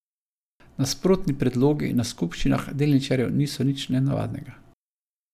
Nasprotni predlogi na skupščinah delničarjev niso nič nenavadnega.